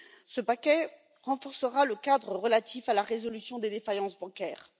Ce paquet renforcera le cadre relatif à la résolution des défaillances bancaires.